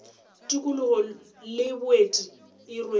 tikologo le boeti e rwele